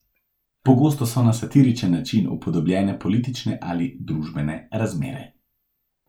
Pogosto so na satiričen način upodobljene politične ali družbene razmere.